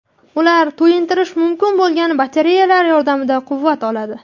Ular to‘yintirish mumkin bo‘lgan batareyalar yordamida quvvat oladi.